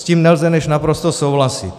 S tím nelze než naprosto souhlasit.